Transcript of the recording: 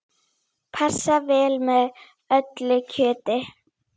Passar vel með öllu kjöti.